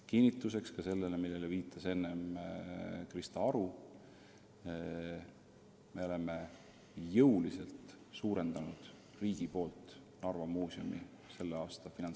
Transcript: Kinnituseks ka sellele, millele viitas enne Krista Aru: riik on tänavu jõuliselt suurendanud Narva Muuseumile eraldatud raha.